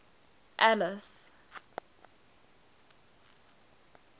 alice